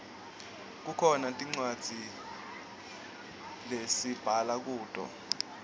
kukhona tincwadzi lesibhala kuto